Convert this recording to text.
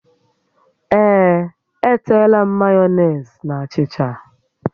Ee, e teela m mayonezi na achịcha